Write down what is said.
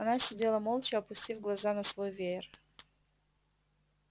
она сидела молча опустив глаза на свой веер